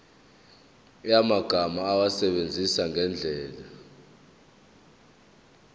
yamagama awasebenzise ngendlela